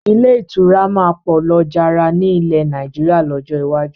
Ilé ìtura máa pọ̀ lọ jára ni ilẹ̀ Nàìjíríà lọ́jọ́ iwájú